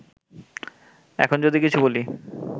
এখন যদি কিছু বলি